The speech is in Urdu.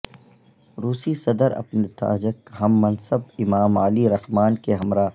روسی صدر اپنے تاجک ہم منصب امام علی رحمان کے ہمراہ